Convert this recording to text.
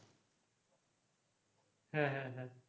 হ্যাঁ, হ্যাঁ,